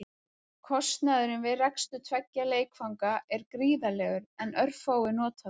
Kostnaðurinn við rekstur tveggja leikvanga er gríðarlegur en örfáir nota þá.